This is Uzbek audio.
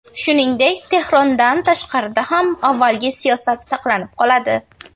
Shuningdek, Tehrondan tashqarida ham avvalgi siyosat saqlanib qoladi.